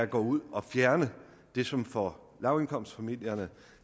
gå ud og fjerne det som for lavindkomstfamilierne